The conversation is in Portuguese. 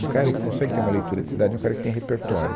Um cara que consegue ter uma leitura de cidade é um cara que tem repertório.